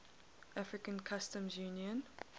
african customs union